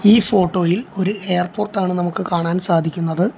ഈ ഫോട്ടോ യിൽ ഒരു എയർപോർട്ട് ആണ് നമുക്ക് കാണാൻ സാധിക്കുന്നത്.